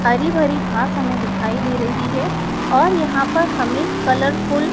हरि-भरी घास हमे दिखाई दे रही हैं और यहां पर हमे कलरफुल --